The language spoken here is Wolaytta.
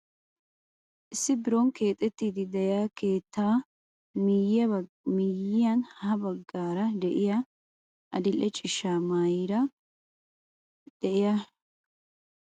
Issi biron keexettiidi de'iyaa keettaa miyiyaan ha baggaara de'iyaa adil'e ciishsha meraara de'iyaa shurabiyaa maayida attuma yelaga na'aa oona giidi xeegiyoo?